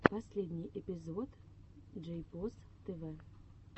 последний эпизод джейпос тв